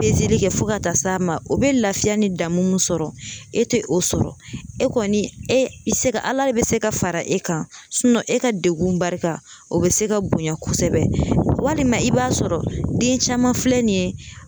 kɛ fo ka taa s'a ma o bɛ lafiya ni damu sɔrɔ, e tɛ o sɔrɔ ,e kɔni e bɛ se ka ala bɛ se ka fara e kan e ka degun ba o bɛ se ka bonya kosɛbɛ, walima i b'a sɔrɔ den caman filɛ nin ye